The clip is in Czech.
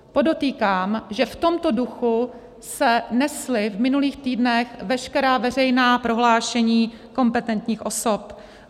Podotýkám, že v tomto duchu se nesla v minulých týdnech veškerá veřejná prohlášení kompetentních osob.